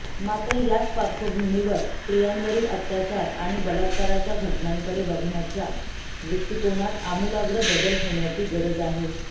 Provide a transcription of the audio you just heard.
मात्र याच पार्श्वभूमीवर स्त्रियांवरील अत्याचार आणि बलात्काराच्या घटनांकडे बघण्याच्या दृष्टीकोनात अमुलाग्र बदल होण्याची गरज आहे